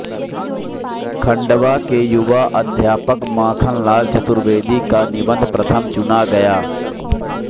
खंडवा के युवा अध्यापक माखनलाल चतुर्वेदी का निबंध प्रथम चुना गया